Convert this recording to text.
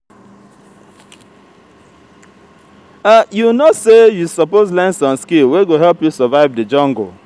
you know sey you suppose learn some skill wey go help you survive di jungle